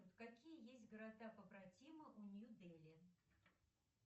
какие есть города побратимы у нью дели